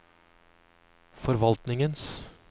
forvaltningens